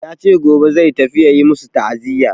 Ya ce gobe zai tafi ya yi masu ta'aziya.